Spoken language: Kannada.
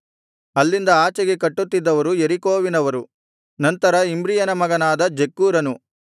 ಅಲ್ಲಿಂದ ಆಚೆಗೆ ಕಟ್ಟುತ್ತಿದ್ದವರು ಯೆರಿಕೋವಿನವರು ನಂತರ ಇಮ್ರಿಯನ ಮಗನಾದ ಜಕ್ಕೂರನು